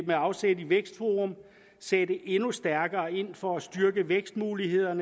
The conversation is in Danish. afsæt i vækstforum sætte endnu stærkere ind for at styrke vækstmulighederne